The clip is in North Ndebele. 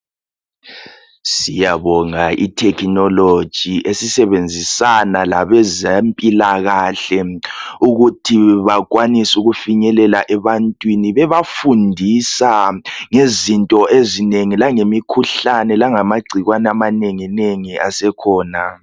Siyabonga i"technology" esizebenzisana labezempilakahle ukuthi bakwanise ukufinyelela ebantwini bebafundisa ngezinto ezinengi langemikhuhlane langamagcikwane amanengi nengi asekhona.